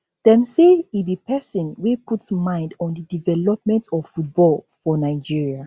dem say e be pesin wey put mind on di development of football for nigeria